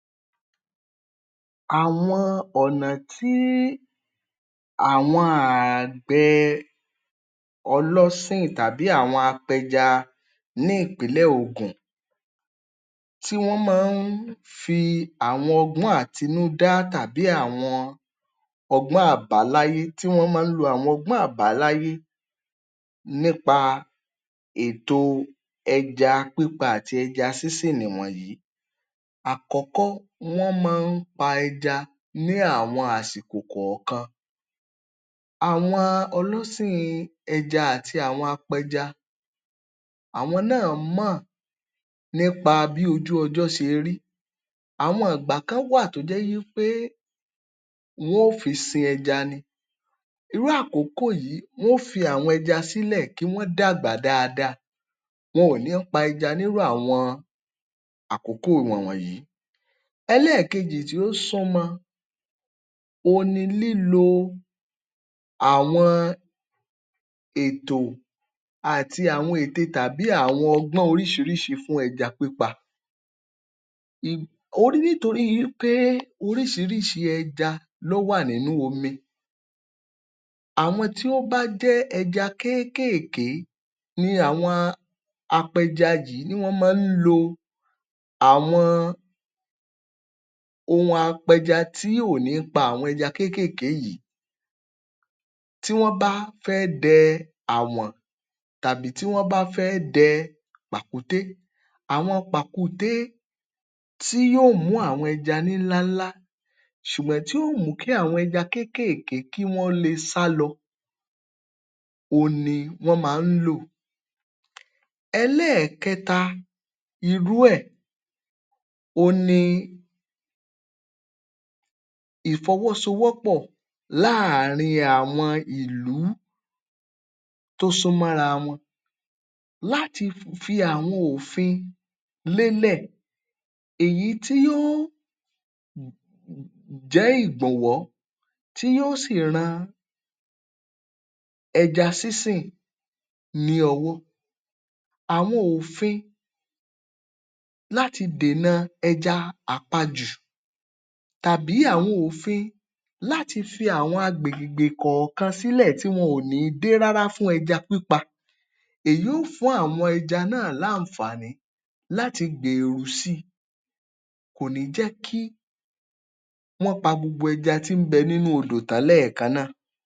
Àwọn ọ̀nà tí àwọn àgbẹ̀ ọlọ́sìn tàbí àwọn apẹja ní ìpílẹ̀ Ògùn, tí wọ́n máa ń fi àwọn ọgbọ́n àtínúdá tàbí àwọn ọgbọ́n àbáláyé nípa ètò ẹja pípa àti ẹja sínsìn nìwọ̀nyìí: Àkọ́kọ́, wọ́n máa ń pa ẹja ní àwọn àsìkò kọ̀ọ̀kan. Àwọn ọlọ́sìn ẹja àti àwọn apẹja, àwọn náà mọ̀ nípa bí ojú-ọjọ́ ṣe rí. Àwọn ìgbà kan wà tó jẹ́ wí pé, wọn ó fi sin ẹja ni. Irú àkókò yìí, wọn ó fi àwọn ẹja sílẹ̀ kí wọ́n dàgbà dáadáa. Wọn ò ní pa ẹja nírú àwọn àkókò wọ̀n wọ̀nyí. Ẹlẹ́ẹ̀kejì tí ó súnmọ, òhun ni lílo àwọn ètò àti àwọn ète tàbí àwọn ọgbọ́n oríṣiríṣi fún ẹja pípa. Nítorí wí pé oríṣiríṣi ẹja ló wà nínú omi, àwọn tí wọ́n bá jẹ́ ẹja kéékèèké ni àwọn apẹja yìí, ni wọ́n máa ń lo àwọn ohun apẹja tí ò ní pa àwọn ẹja kéékèèké yìí. Tí wọ́n bá fẹ́ dẹ àwọ̀n tàbí tí wọ́n bá fẹ́ dẹ pàkúté; àwọn pàkúté tí yóò mú àwọn ẹja ńlá ńlá ṣùgbọ́n tí yóò mú kí àwọn ẹja kéékèèké, kí wọ́n lè sálọ, òhun ni wọ́n máa ń lò. Ẹlẹ́ẹ̀kẹta irú ẹ̀, òhun ni ìfọ́wọ́sówọpọ̀ láàrin àwọn ìlú tó súnmọ́ra wọn láti fi àwọn òfin lélẹ̀, èyí tí yóó jẹ́ ìgbọ̀nwọ́, tí yóó sì ran ẹja sínsìn ní ọwọ́. Àwọn òfin láti dèna ẹja àpajù tàbí àwọn òfin láti fi àwọn agbègbè kọ̀ọ̀kan sílẹ̀ tí wọn ò ní dé rára fún ẹja pípa. Èyí yóò fún àwọn ẹja náà láǹfààní láti gbèrú sí i. Kò ní jẹ́ kí wọ́n pa gbogbo ẹja tí ń bẹ nínú odò tán lẹ́ẹ̀kan náà.